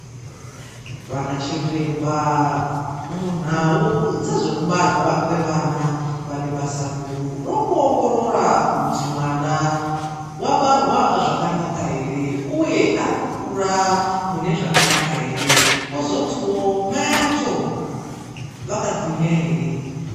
Vana chiremba munhau dzezvekubarwa kweana vane basa guru rekuongorora kuti mwana vabarwa zvakanaka ere, uye arikukura mune zvakanaka ere, vozotiwo mai acho vakagwinya ere.